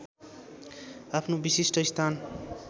आफ्नो विशिष्ट स्थान